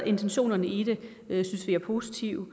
intentionerne i det er positive